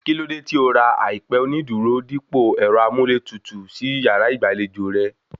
Kíló dé tí o ra àìpẹ onídùúró dípò ẹ̀rọ amúlétutù sí yàrá ìgbàlejò rẹ̀?